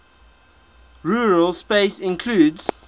rural space includes